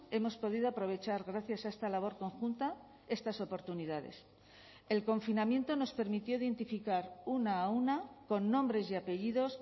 hemos podido aprovechar gracias a esta labor conjunta estas oportunidades el confinamiento nos permitió identificar una a una con nombres y apellidos